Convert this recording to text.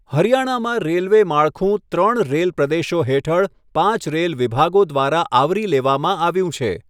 હરિયાણામાં રેલવે માળખું ત્રણ રેલ પ્રદેશો હેઠળ પાંચ રેલ વિભાગો દ્વારા આવરી લેવામાં આવ્યું છે.